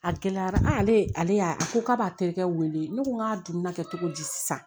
A gɛlɛyara ale y'a a ko k'a b'a terikɛ wele ne ko n k'a dumuni kɛ cogo di sisan